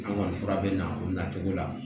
An kɔni fura bɛ na o nacogo la